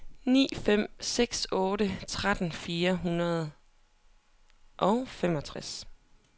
ni fem seks otte tretten fire hundrede og femogtres